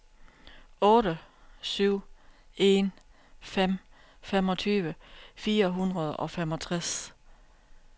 otte syv en fem femogtyve fire hundrede og femogtres